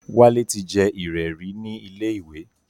Wálé ti jẹ ìrẹ̀ rí ní ilé ìwé